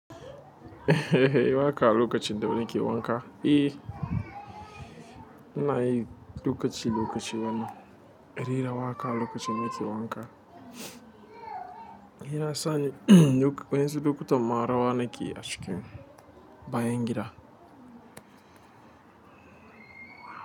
Wa ka lokaci da nake wanka? Eh, ina yi lokaci lokaci wani. Rera wa ka lokacin da nake wanka. Shiyasa ni duk waɗansu lokutan ma rawa nakeyi a cikin bayan gida.